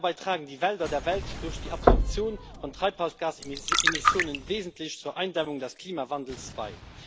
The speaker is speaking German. Dabei tragen die Wälder der Welt durch die Absorption von Treibhausgasemissionen wesentlich zur Eindämmung des Klimawandels bei.